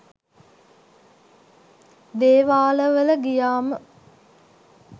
දේවාලවල ගියාම